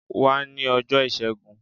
Wá ní ọjọ́ọ ìṣẹ́gun.